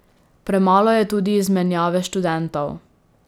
Premalo je tudi izmenjave študentov.